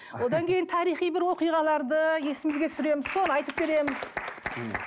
одан кейін тарихи бір оқиғаларды есімізге түсіреміз соны айтып береміз мхм